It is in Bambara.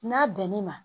N'a bɛn n'i ma